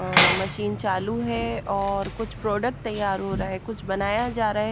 अह machine चालू है और कुछ प्रोडक्ट तैयार हो रहे हैं कुछ बनाया जा रहा है।